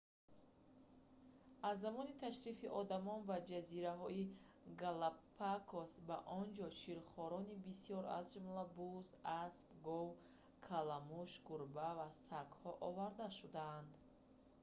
аз замони ташрифи одам ба ҷазираҳои галапагос ба он ҷо ширхорони бисёр аз ҷумла буз асп гов каламуш гурба ва сагҳо оварда шуданд